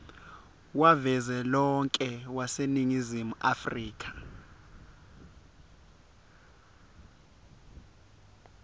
wavelonkhe waseningizimu afrika